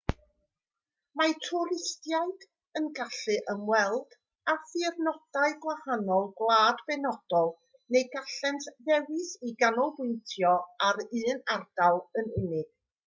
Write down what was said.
mae twristiaid yn gallu ymweld â thirnodau gwahanol gwlad benodol neu gallent ddewis i ganolbwyntio ar un ardal yn unig